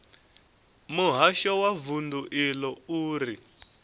muhasho wa vundu iḽo uri